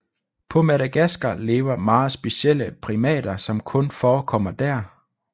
På Madagaskar lever meget specielle primater som kun forekommer der